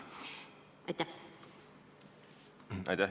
Aitäh!